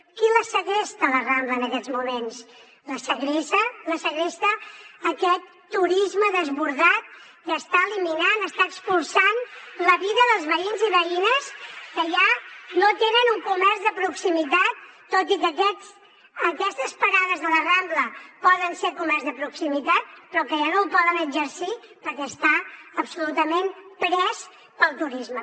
qui la segresta la rambla en aquests moments la segresta aquest turisme desbordat que està eliminant està expulsant la vida dels veïns i veïnes que ja no tenen un comerç de proximitat tot i que aquestes parades de la rambla poden ser comerç de proximitat però ja no el poden exercir perquè està absolutament pres pel turisme